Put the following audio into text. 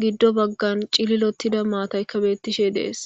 giddo baggan cililottida maatayka beettishe dees.